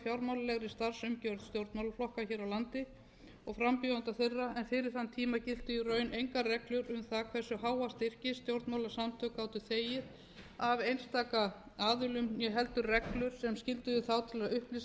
stjórnmálaflokka hér á landi og frambjóðenda þeirra en fyrir þann tíma giltu í raun engar reglur um það hversu háa styrki stjórnmálasamtök gátu þegið af einstaka aðilum né heldur reglur sem skylduðu þá til að upplýsa